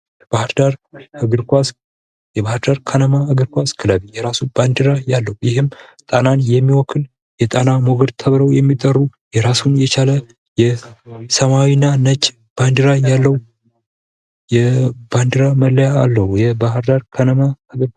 ባህርዳር እግር ኳስ፦ የባህር ዳር ከነማ እግር ኳስ ክለብ ፤ የራሱ ባንዲራ ያለው ይህም ጣናን የሚወክል የጣና ሞገድ ተብለው የሚጠሩ ራሱን የቻለ ይህ ሰማያዊና ነጭ ባንዲራ ያለው ባንዴራ ወይም መለያ አለዉ የባህር ዳር ከነማ እግር ኳስ ክለብ።